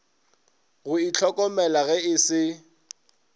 go ihlokomela ge e se